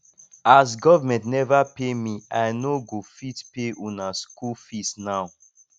as government neva pay me i no go fit pay una skool fees now